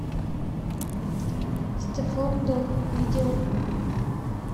стеффлон дон видео